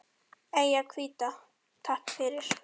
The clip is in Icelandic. Eyjan hvíta, takk fyrir.